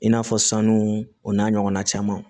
I n'a fɔ sanu o n'a ɲɔgɔnna caman